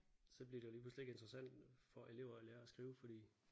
Så bliver det jo lige pludselig ikke interessant for elever at lære at skrive fordi